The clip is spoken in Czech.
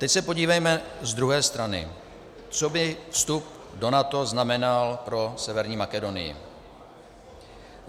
Teď se podívejme z druhé strany, co by vstup do NATO znamenal pro Severní Makedonii.